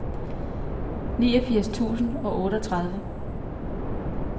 niogfirs tusind og otteogtredive